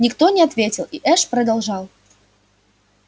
никто не ответил и эш продолжал